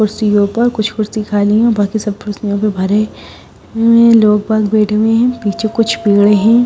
कुर्सियों पर कुछ कुर्सी खाली हैं बाकी सब कुर्सियों पे भरे हुए लोग पास बैठे हुए हैं पीछे कुछ पेड़ हैं।